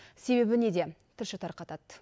себебі неде тілші тарқатады